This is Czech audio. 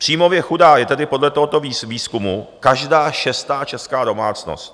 Příjmově chudá je tedy podle tohoto výzkumu každá šestá česká domácnost.